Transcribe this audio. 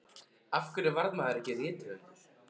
Af hverju varð maðurinn ekki rithöfundur?